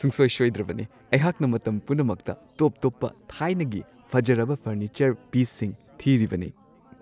ꯁꯨꯡꯁꯣꯏ- ꯁꯣꯏꯗ꯭ꯔꯕꯅꯤ ! ꯑꯩꯍꯥꯛꯅ ꯃꯇꯝ ꯄꯨꯝꯅꯃꯛꯇ ꯇꯣꯞ-ꯇꯣꯞꯄ ꯊꯥꯏꯅꯒꯤ ꯐꯖꯔꯕ ꯐꯔꯅꯤꯆꯔ ꯄꯤꯁꯁꯤꯡ ꯊꯤꯔꯤꯕꯅꯦ ꯫